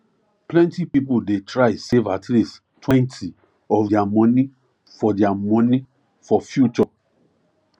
plenty people dey try save at leasttwentyof their money for their money for future